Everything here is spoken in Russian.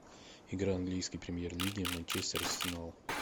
игра английской премьер лиги манчестер арсенал